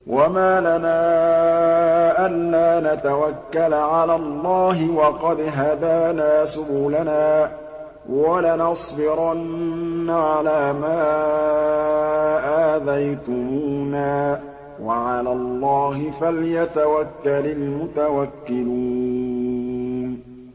وَمَا لَنَا أَلَّا نَتَوَكَّلَ عَلَى اللَّهِ وَقَدْ هَدَانَا سُبُلَنَا ۚ وَلَنَصْبِرَنَّ عَلَىٰ مَا آذَيْتُمُونَا ۚ وَعَلَى اللَّهِ فَلْيَتَوَكَّلِ الْمُتَوَكِّلُونَ